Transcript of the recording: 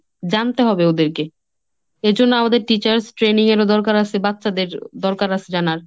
জানতে হবে ওদেরকে। এজন্য আমাদের teachers training এর ও দরকার আসে, বাচ্চাদের দরকার আসে জানার।